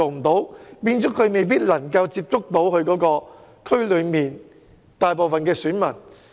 這樣，候選人未必能夠接觸其選區內的大部分選民。